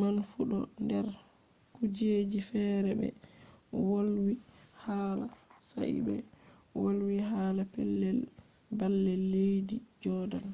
man fu ɗo nder kujeji fere ɓe wolwi haala sai ɓe wolwi hala pellel baalle leddi jodan